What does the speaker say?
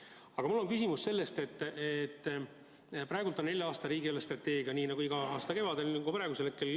Aga mul on küsimus praegu kehtiva nelja aasta riigi eelarvestrateegia kohta, nii nagu neid iga aasta kevadel koostatakse.